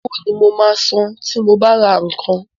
Owó ni mo máa san tí mo bá ra nǹkan.